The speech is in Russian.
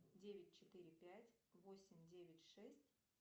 девять четыре пять восемь девять шесть